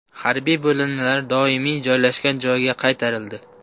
Harbiy bo‘linmalar doimiy joylashgan joyiga qaytarildi.